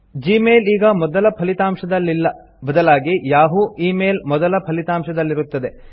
Gmail ಈಗ ಮೊದಲ ಫಲಿತಾಂಶದಲ್ಲಿಲ್ಲ ಬದಲಾಗಿ ಯಹೂ ಮೇಲ್ ಮೊದಲ ಫಲಿತಾಂಶದಲ್ಲಿರುತ್ತದೆ